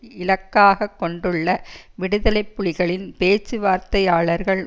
இலக்காக கொண்டுள்ள விடுதலை புலிகளின் பேச்சுவார்த்தையாளர்கள்